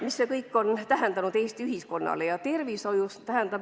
Mida see kõik on tähendanud Eesti ühiskonnale?